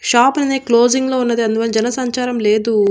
Shop అనేది closing లో ఉన్నది అందువల్ల జన సంచారం లేదు.